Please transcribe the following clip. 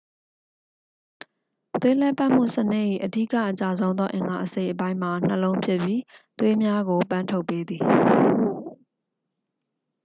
သွေးလှည့်ပတ်မှုစနစ်၏ အဓိက အကျဆုံးသော အင်္ဂါအစိတ်အပိုင်းမှာ နှလုံးဖြစ်ပြီး သွေးများကို ပန်းထုတ်ပေးသည်